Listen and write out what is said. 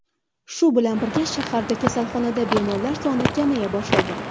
Shu bilan birga, shaharda kasalxonadagi bemorlar soni kamaya boshlagan.